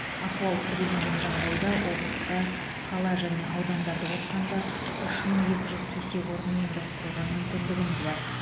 ахуал күрделеген жағдайда облыста қала және аудандарды қосқанда үш мың екі жүз төсек орын ұйымдастыруға мүмкіндігіміз бар